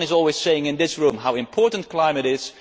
Everyone is always saying in this room how important climate